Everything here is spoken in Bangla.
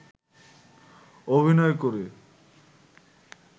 অভিনয় করে